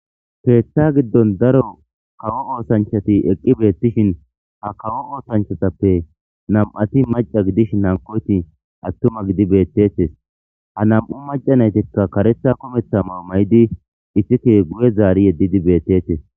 Keeththa giddon daro kawo oosanchchati eqqi beettishin ha kawo oosanchchatappe nami'ati macca gidishin hankkoyti attuma gidi beettetes. Ha nami'u macca nayttikka kareththa kumeththa mayo mayidi iththike guye zaridi yedidi beettetes.